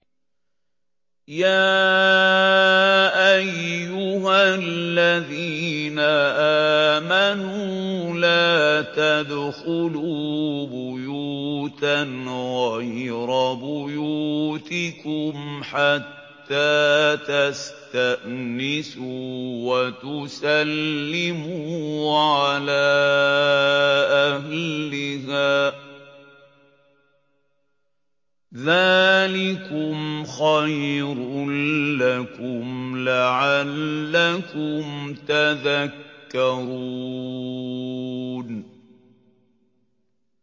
يَا أَيُّهَا الَّذِينَ آمَنُوا لَا تَدْخُلُوا بُيُوتًا غَيْرَ بُيُوتِكُمْ حَتَّىٰ تَسْتَأْنِسُوا وَتُسَلِّمُوا عَلَىٰ أَهْلِهَا ۚ ذَٰلِكُمْ خَيْرٌ لَّكُمْ لَعَلَّكُمْ تَذَكَّرُونَ